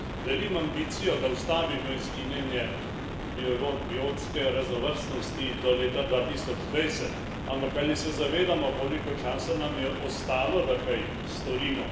Delim ambicijo, da ustavimo izginjenje biotske raznovrstnosti do leta 2020, ampak ali se zavedamo, koliko časa nam je ostalo, da kaj storimo?